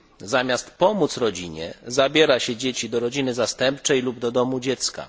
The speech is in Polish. Zamiast pomóc rodzinie, zabiera się dzieci do rodziny zastępczej lub do domu dziecka.